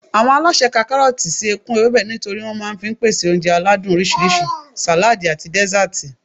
Àwọn alásè ka kárọ̀tì kún ewébẹ̀ nítorí wọn máa fi ń pèsè oúnjẹ aládùn oríṣiríṣi, sàládì àti dẹ́sàtì